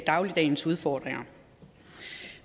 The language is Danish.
dagligdagens udfordringer